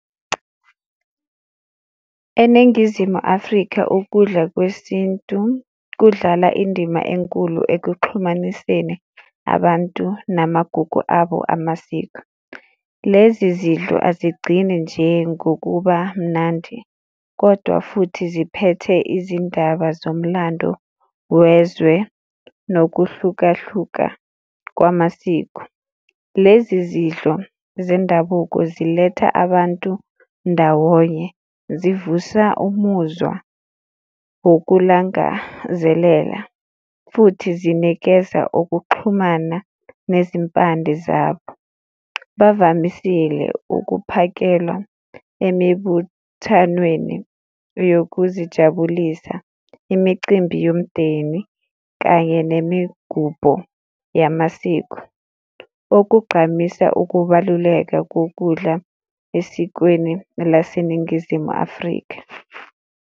ENingizimu Afrika ukudla kwesintu kudlala indima enkulu ekuxhumaniseni abantu namagugu abo amasiko, lezi zidlo azigcini nje ngokuba mnandi kodwa futhi ziphethe izindaba zomlando wezwe nokuhlukahluka kwamasiko. Lezi zidlo zendabuko ziletha abantu ndawonye, zivusa umuzwa wokulangazelela futhi zinikeza ukuxhumana nezimpande zabo. Bavamisile ukuphakelwa emibuthanweni yokuzijabulisa, imicimbi yomndeni kanye nemigubho yamasiko, okugqamisa ukubaluleka kokudla esikweni laseNingizimu Afrika.